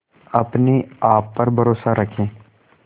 अपने आप पर भरोसा रखें